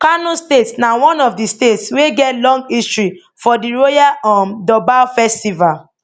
kano state na one of di states wey get long history for di royal um durbar festival